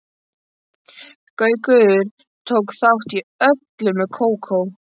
Gaukur tók þátt í öllu með Kókó.